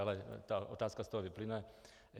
Ale ta otázka z toho vyplyne.